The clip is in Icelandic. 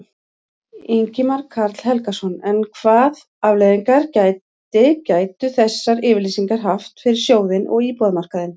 Ingimar Karl Helgason: En hvað afleiðingar gæti, gætu þessar yfirlýsingar haft fyrir sjóðinn og íbúðamarkaðinn?